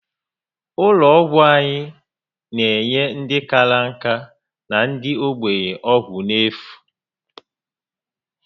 Ụlọ ọgwụ anyị n'enye ndị kárá nka na ndị ogbenye ọgwụ n'efu